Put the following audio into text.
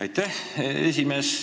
Aitäh, esimees!